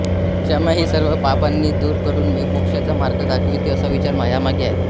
क्षमा ही सर्व पापांना दूर करून मोक्षाचा मार्ग दाखविते असा विचार यामागे आहे